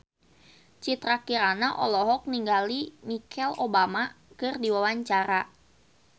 Citra Kirana olohok ningali Michelle Obama keur diwawancara